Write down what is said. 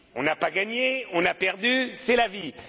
On n'a pas gagné, on a perdu, c'est la vie.